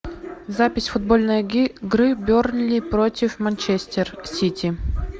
запись футбольной игры бернли против манчестер сити